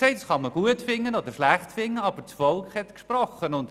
Das kann man gut oder schlecht finden, aber das Volk hat gesprochen.